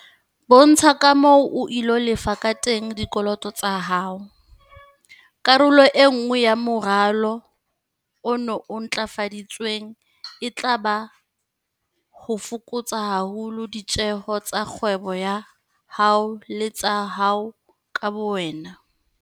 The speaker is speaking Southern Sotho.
Bontsha ka moo o ilo lefa ka teng dikoloto tsa hao. Karolo e nngwe ya moralo ona o ntlafaditsweng e tla ba ho fokotsa haholo ditjeho tsa kgwebo ya hao le tsa hao ka bowena.